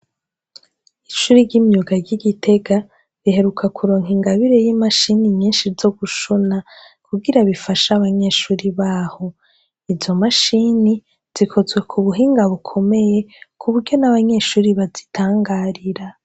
Ishuri ry'imyuga ry'i Gitega riheruka kuronka ingabire y'i mashini nyinshi zo gushona kugira bifashe abanyeshure baho. Izo mashini zikozwe mu buhinga bukomeye ku buryo n'abanyeshure bazitangarira.